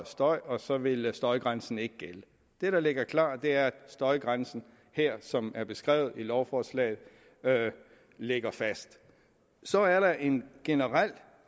støj og så ville støjgrænsen ikke gælde det der ligger klart er at støjgrænsen her som er beskrevet i lovforslaget ligger fast så er der en generel